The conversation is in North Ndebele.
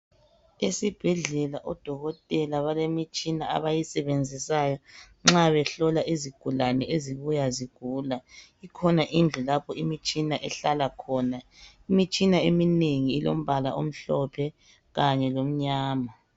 Esibhedlela odokotela balemitshina abayisebenzisayo nxa behlola izigulane ezibuya zigula. Ikhona indlu lapho imitshina ehlala khona. Imitshina eminengi ilombala omhlophe kanye lomnyama.